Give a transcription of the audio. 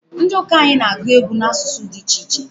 Ndi uka anyị na-agwụ egwu n'asụsụ di ichiche